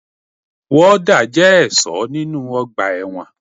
Wọ́dà jẹ́ ẹ̀ṣọ́ nínu ọgbà ẹ̀wọ̀n